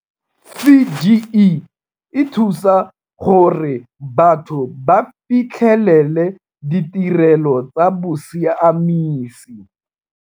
CGE e thusa gore batho ba fitlhelele ditirelo tsa bosiamisi.